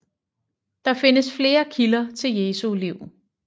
Der findes flere kilder til Jesu liv